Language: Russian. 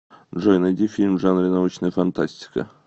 джой найди фильм в жанре научная фантастика